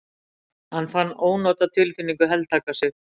Hann fann ónotatilfinningu heltaka sig.